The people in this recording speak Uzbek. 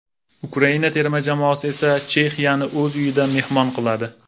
Ukraina terma jamoasi esa Chexiyani o‘z uyida mehmon qiladi.